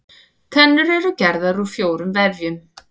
Tennur eru gerðar úr fjórum vefjum.